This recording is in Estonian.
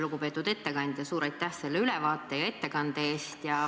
Lugupeetud ettekandja, suur aitäh selle ülevaate ja ettekande eest!